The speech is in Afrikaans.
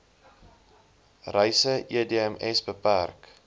reise edms bpk